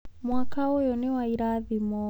Mwaka ũyũ nĩ wa irathimo.